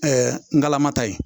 ngalama ta ye